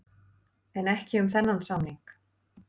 En ekki um þennan samning.